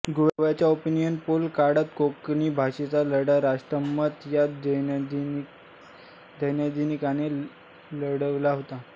गोव्याच्या opinion poll काळात कोंकणी भाषेचा लढा राष्ट्रमत या दैनिकाने लढवला होता